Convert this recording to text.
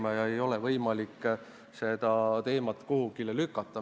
Seda teemat ei ole võimalik kuhugi lükata.